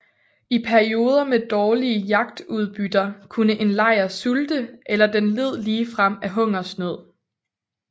I perioder med dårlige jagtudbytter kunne en lejr sulte eller den led ligefrem af hungersnød